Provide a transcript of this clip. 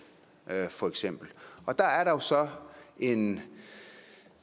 for eksempel der er der jo så en